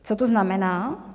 Co to znamená?